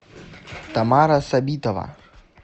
тамара сабитова